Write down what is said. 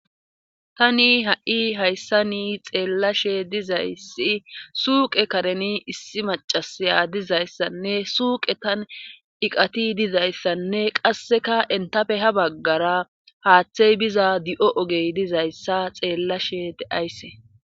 Tani ha7i hayssa ni xeellashe dizayssi suuqe kareni issi macasaya dizayssanne suuqe tan iqati dizayssanne qasseka entafe ha baggara haaththey biza di7o ogey dizayssa xeellashe deaysse.